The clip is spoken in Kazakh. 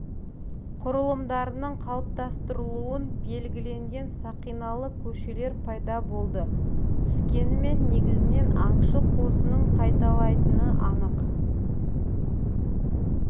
құрылымдарының қалыптастырылуын белгілеген сақиналы көшелер пайда болды түскенімен негізінен аңшы қосынын қайталайтыны анық